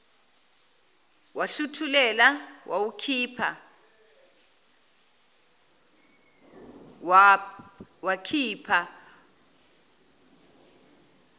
wahluthulela wawukhipha wakhipha